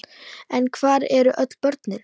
En hvar eru öll börnin?